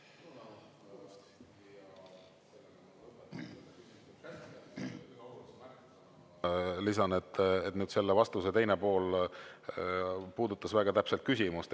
Lisan, et nüüd selle vastuse teine pool puudutas väga täpselt küsimust.